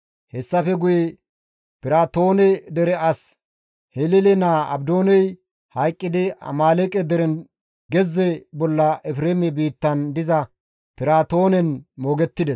Hessafe guye Piraatoone dere as Hilele naa Abdooney hayqqidi Amaaleeqe deren gezze bolla Efreeme biittan diza Piraatoonen moogettides.